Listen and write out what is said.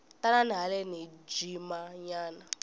tanani haleni hi jima nyana